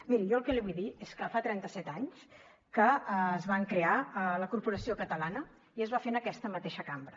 miri jo el que li vull dir és que fa trenta set anys que es va crear la corporació catalana i es va fer en aquesta mateixa cambra